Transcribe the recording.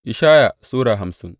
Ishaya Sura hamsin